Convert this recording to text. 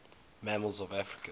mammals of africa